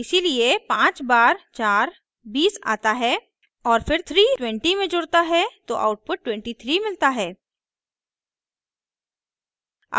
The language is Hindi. इसीलिए पांच बार चार बीस आता है और फिर 3 20 में जुड़ता है तो आउटपुट 23 मिलता है